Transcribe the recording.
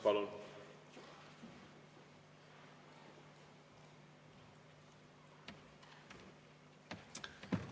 Palun!